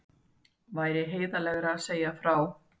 Væri heiðarlegra að segja frá